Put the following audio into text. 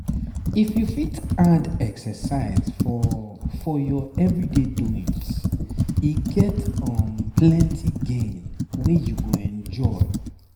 if you fit add exercise for for your everyday doings e get um plenty gain wey you go enjoy.